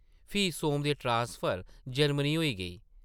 फ्ही सोम दी transfer Germany होई गेई ।